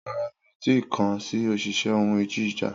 Rara, mi o ti kan si oṣiṣẹ ohun ìjà